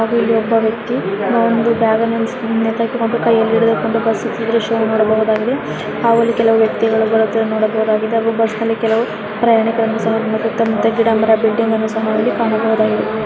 ಹಾಗು ಇಲ್ಲಿ ಒಬ್ಬ ವ್ಯಕ್ತಿ ಒಂದು ಬ್ಯಾಗ ನ್ನು ನೇತು ಹಾಕಿಕೊಂಡು ಕೈಯಲ್ಲಿ ಹಿಡಿದುಕೊಂಡು ಬಸ್ ಹತ್ತುತ್ತಿರುವ ದೃಶ್ಯ ನೋಡಬಹುದಾಗಿದೆ ಹಾಗೂ ಇಲ್ಲಿ ಕೆಲವು ವ್ಯಕ್ತಿಗಳು ಬರುತ್ತಿರುವುದನ್ನು ನೋಡಬಹುದಾಗಿದೆ ಹಾಗು ಬಸ್ ನಲ್ಲಿ ಕೆಲವು ಪ್ರಯಾಣಿಕರನ್ನು ಸಹ ಸುತ್ತಮುತ್ತ ಗಿಡ ಮರ ಬಿಲ್ಡಿಂಗ್‌ ಅನ್ನು ಸಹ ಕಾಣಬಹುದಾಗಿದೆ.